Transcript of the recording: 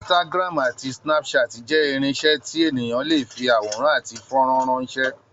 Instagram àti Snapchat jẹ́ irinṣẹ́ tí ènìyàn lè fi àwòrán àti fọ́nrán ránṣẹ́.